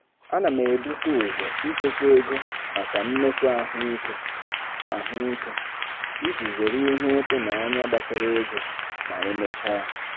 Ana m ebute ụzọ ichekwa ego maka mmefu ahụike ahụike iji zere ihe ịtụnanya gbasara ego ma emechaa.